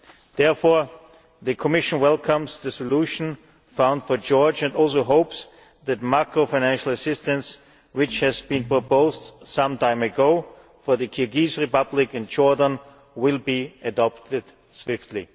Therefore the Commission welcomes the solution found for Georgia and also hopes that the macro financial assistance which was proposed some time ago for the Kyrgyz Republic and Jordan will be adopted swiftly.